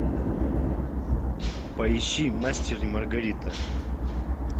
поищи мастер и маргарита